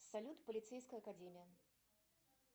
салют полицейская академия